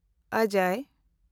ᱚᱡᱚᱭ